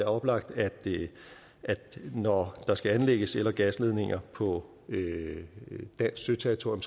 oplagt at når der skal anlægges el og gasledninger på dansk søterritorium